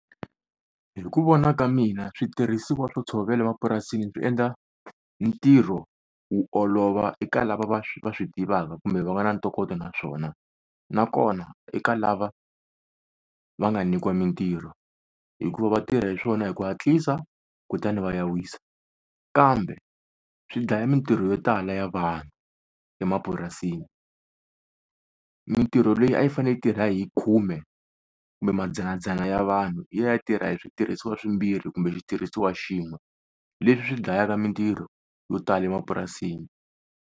Hi ku vona ka mina switirhisiwa swo ntshovelo mapurasini swi endla ntirho wu olova eka lava va va swi tivaka kumbe va nga na ntokoto na swona. Na kona eka lava va nga nyikiwa mintirho hikuva va tirha hi swona hi ku hatlisa kutani va ya wisa, kambe swi dlaya mintirho yo tala ya vanhu emapurasini mintirho leyi a yi fanele yi tirha hi khume kumbe mandzanandzana ya vanhu ya tirha hi switirhisiwa swimbirhi kumbe xitirhisiwa xin'we leswi swi dlayaka mintirho yo tala emapurasini.